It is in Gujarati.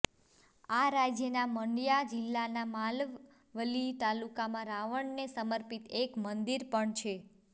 આ રાજ્યના મંડ્યા જિલ્લાના માલવલ્લી તાલુકામાં રાવણને સમર્પિત એક મંદિર પણ છે